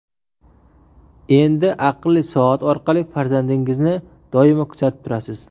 Endi aqlli soat orqali farzandingizni doimo kuzatib turasiz.